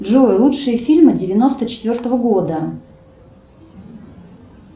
джой лучшие фильмы девяносто четвертого года